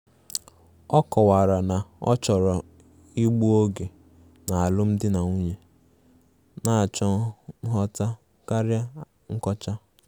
Ọ kọwara na ọ chọrọ igbu oge n' alụmdi na nwunye, na-achọ nghọta karịa nkocha.